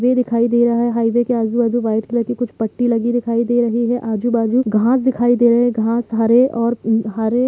highway दिखय दे रहब है रोड ऐ आजूबाजू सफेद पत्ते दिख रह है आजूबाजू घास दिखाई दे रहे है घास हरे--